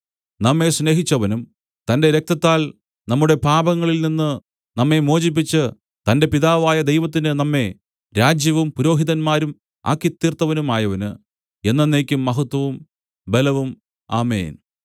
നമ്മെ സ്നേഹിച്ചവനും തന്റെ രക്തത്താൽ നമ്മുടെ പാപങ്ങളിൽ നിന്നു നമ്മെ മോചിപ്പിച്ചു തന്റെ പിതാവായ ദൈവത്തിന് നമ്മെ രാജ്യവും പുരോഹിതന്മാരും ആക്കിത്തീർത്തവനുമായവന് എന്നെന്നേക്കും മഹത്വവും ബലവും ആമേൻ